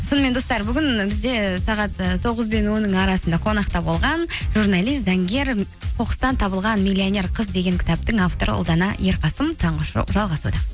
сонымен достар бүгін бізде сағат і тоғыз бен онның арасында қонақта болған журналист заңгер қоқыстан табылған миллионер қыз деген кітаптың авторы ұлдана ерқасым таңғы шоу жалғасуда